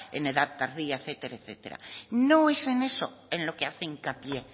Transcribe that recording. en edad tardía etcétera etcétera no es en eso en lo que hace hincapié